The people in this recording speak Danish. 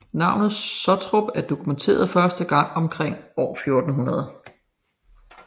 Navnet Sottrup er dokumenteret første gang omkring år 1400